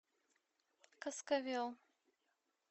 каскавел